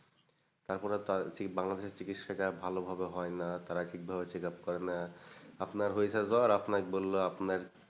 তারপরে বাংলাদেশে চিকিৎসাটা ভালোভাবে হয়না, তারা ঠিকভাবে checkup করে না। আপনার হয়েছে জ্বর আপনায় বললো আপনার,